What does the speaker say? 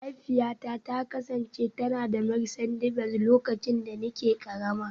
Mahaifiyata ta kasance tana da Mercedes Benz lokacin da nake karama